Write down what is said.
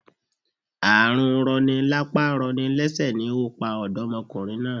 Ààrùn rọni lápá rọni lẹ́sẹ̀ ni ó pa òdọ́mokùnrin náà